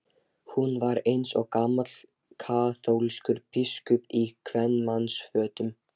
Hún var eins og gamall kaþólskur biskup í kvenmannsfötum.